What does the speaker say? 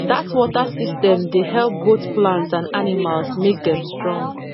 the water system dey help both plants and animals make dem strong